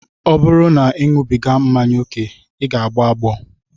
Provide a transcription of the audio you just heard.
Ọ bụrụ na ị na-aṅụbiga mmanya ókè, ị ga-agbọ agbọ